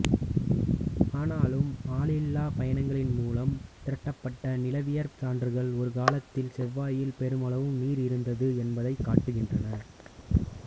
ஆனாலும் ஆளில்லாப் பயணங்களின் மூலம் திரட்டப்பட்ட நிலவியற் சான்றுகள் ஒரு காலத்தில் செவ்வாயில் பெருமளவு நீர் இருந்தது என்பதைக் காட்டுகின்றன